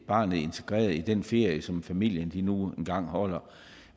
barnet integreret i den ferie som familien nu engang holder